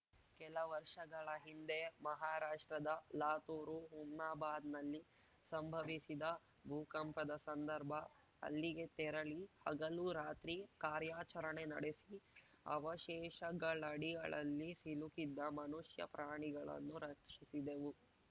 ಕೆಲ ವರ್ಷಗಳ ಹಿಂದೆ ಮಹಾರಾಷ್ಟ್ರದ ಲಾತೂರು ಹುಮ್ನಾಬಾದ್‌ನಲ್ಲಿ ಸಂಭವಿಸಿದ ಭೂಕಂಪದ ಸಂದರ್ಭ ಅಲ್ಲಿಗೆ ತೆರಳಿ ಹಗಲು ರಾತ್ರಿ ಕಾರ್ಯಾಚರಣೆ ನಡೆಸಿ ಅವಶೇಷಗಳಡಿಗಳಲ್ಲಿ ಸಿಲುಕಿದ್ದ ಮನುಷ್ಯ ಪ್ರಾಣಿಗಳನ್ನು ರಕ್ಷಿಸಿದೆವು